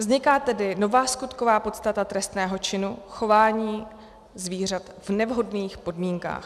Vzniká tedy nová skutková podstata trestného činu chování zvířat v nevhodných podmínkách.